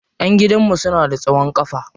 Ƴan gidan mu suna da tsawon kafa.